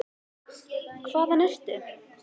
Hvaðan ertu?